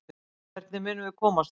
Hvernig munum við komast þangað?